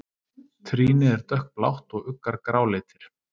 Trýni er dökkblátt og uggar gráleitir.